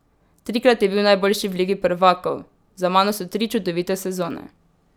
Trikrat je bil najboljši v ligi prvakov: "Za mano so tri čudovite sezone.